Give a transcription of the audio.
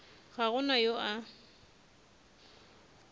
ga go na yo a